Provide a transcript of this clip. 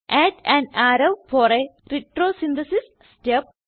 add an arrow for a retrosynthesis step